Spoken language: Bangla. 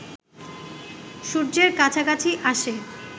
সূর্যের কাছাকাছি আসে